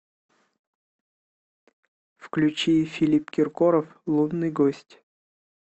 включи филипп киркоров лунный гость